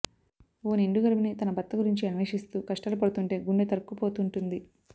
ఓ నిండు గర్భిణి తన భర్త గురించి అన్వేషిస్తూ కష్టాలు పడుతుంటే గుండె తరుక్కుపోతుంటుంది